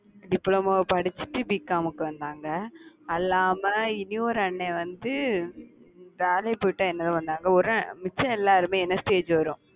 diploma படிச்சுட்டு BCom க்கு வந்தாங்க. அல்லாம இனி ஒரு அண்ணன் வந்து வேலைக்கு போயிட்டே என்னோட வந்தாங்க, மிச்ச எல்லாரும் வரும்